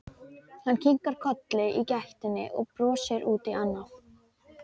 Hann kinkar kolli í gættinni og brosir út í annað.